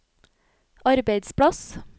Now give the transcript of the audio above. arbeidsplass